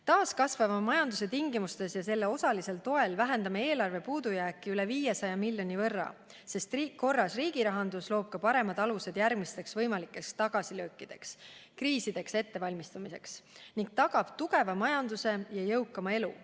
Taas kasvava majanduse tingimustes ja selle osalisel toel vähendame eelarve puudujääki üle 500 miljoni euro võrra, sest korras riigirahandus loob paremad alused järgmisteks võimalikeks tagasilöökideks ja kriisideks ettevalmistumiseks ning tagab tugevama majanduse ja jõukama elu.